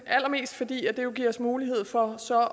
allermest fordi det jo giver os mulighed for så